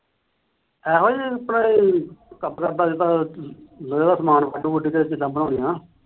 ਇਹੋ ਜਿਹੇ ਆਪਣਾ ਇਹ ਕੰਮ ਕਰਦਾ ਜਿੱਦਾਂ ਲੋਹੇ ਦਾ ਸਮਾਨ ਵੱਢ ਵੂਢ ਕੇ ਜਿੰਦਾ ਬਣਾਉਦੇ ਆ।